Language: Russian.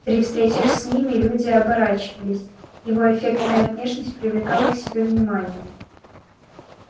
при встречах с ними люди оборачивались его эффектная внешность привлекала к себе внимание